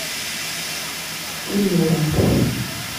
ильнуром